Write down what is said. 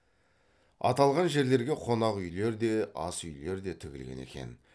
аталған жерлерге қонақ үйлер де ас үйлер де тігілген екен